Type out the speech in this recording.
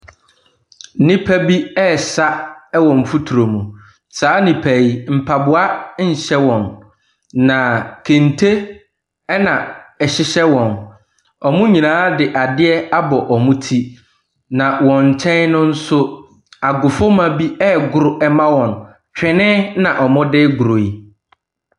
Nipa bi ɛresa wɔ nfoturo mu, saa nipa yi mpaboa nhyɛ wɔn na kente na ɛhyehyɛ wɔn. Wɔn nyinaa de adeɛ abɔ wɔn ti na wɔn nkyɛn no nso, agofuma bi ɛregoro ɛma wɔn. Twene na wɔde goro yi.